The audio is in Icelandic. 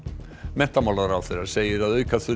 menntamálaráðherra segir að auka þurfi